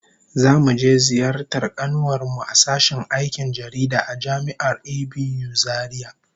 Zamu je ziyartar kanuwar mu a sashen aikin jaridah a Jami'ar ABU Zaria